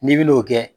N'i bi n'o kɛ